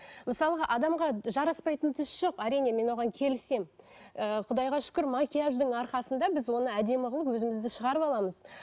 мысалға адамға жараспайтын түс жоқ әрине мен оған келісемін ыыы құдайға шүкір макияждың арқасында біз оны әдемі қылып өзімізді шығарып аламыз